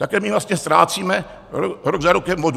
Takhle my vlastně ztrácíme rok za rokem vodu.